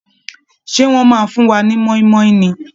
Ṣé wọ́n máa fún wa ni mọ́ínmọ́ín ni!